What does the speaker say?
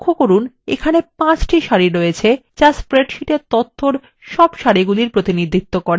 লক্ষ্য করুন এখানে 5টি সারি আছে যা আমাদের স্প্রেডশীটের তথ্যর মোট সারির প্রতিনিধিত্ব করে